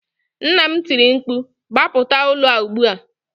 Nna m tiri mkpu, gbapụta ụlọ a ugbu a!